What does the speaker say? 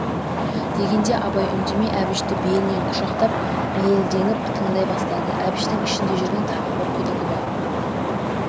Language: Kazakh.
дегенде абай үндемей әбішті белінен құшақтап бейілдеңіп тыңдай бастады әбіштің ішінде жүрген тағы бір күдігі бар